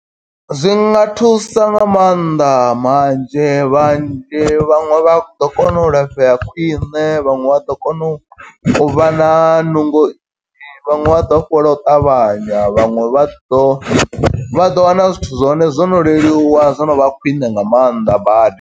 Zwinga thusa nga mannḓa manzhi vhanzhi vhaṅwe vha ḓo kona u lafhea khwiṋe, vhaṅwe vha ḓo kona u vha na nungo nnzhi vhaṅwe vha ḓo fhola u ṱavhanya, vhaṅwe vha ḓo vha ḓo wana zwithu zwa hone zwo no leluwa, zwo no vha khwine nga maanḓa badi.